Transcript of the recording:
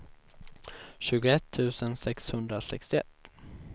tjugoett tusen sexhundrasextioett